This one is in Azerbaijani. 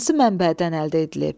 Hansı mənbədən əldə edilib?